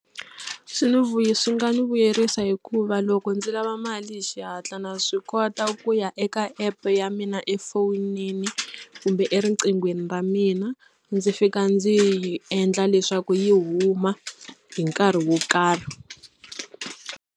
Swi ni swi nga ni vuyerisa hikuva loko ndzi lava mali hi xihatla na swi kota ku ya eka app ya mina efonini kumbe eriqinghweni ra mina ndzi fika ndzi yi endla leswaku yi huma hi nkarhi wo karhi.